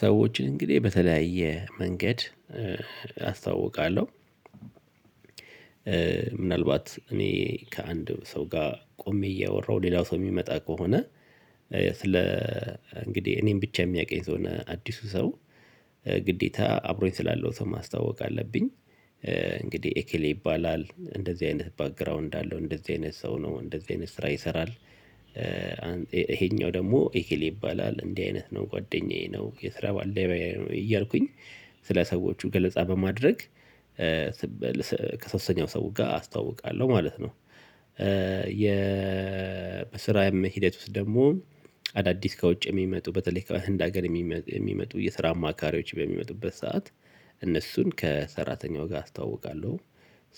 ሰዎችን እንግዲህ በተለያየ መንገድ አስታዋውቃለሁ። ምናልባት እኔ ከአንድ ሰው ጋር ቆሜ እያወራሁ ሌላው ሰው የሚመጣ ከሆነ ስለ እንግዲህ እኔን ብቻ የሚያውቀኝ ከሆነ አዲሱ ሰው ግዴታ አብሮኝ ስላለው ሰው ማስተዋወቅ አለብኝ። እንግዲህ ኤኬሌ ይባላል እንደዚህ አይነት ባክግራውንድ አለው እንደዚህ አይነት ሰው ነው እንደዚህ አይነት ስራ ይሰራል። ይሄኛው ደግሞ ኢኬሌ ይባላል እንዲህ አይነት ነው ጓደኛዬ ነው የስራ ባልደረባዬ ነው እያልኩኝ ስለ ሰዎቹ ገለጻ በማድረግ። ከሶስተኛው ሰው ጋር አስታውቃለሁ ማለት ነው። የ በስራም ሂደት ውስጥ ደግሞ አዳዲስ ከውጭ የሚመጡ በተለይ ከህንድ አገር የሚመጡ የስራ አማካሪዎች በሚመጡበት ሰዓት እነሱን ከሰራተኛው ጋር አስተዋውቃለሁ።